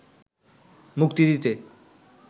মুক্তি দিতে